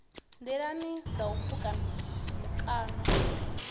nḓilani ha u pfuka mikano